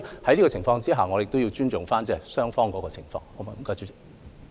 基於這些原因，我們也要尊重雙方的情況。